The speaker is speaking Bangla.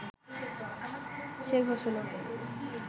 সে ঘোষণা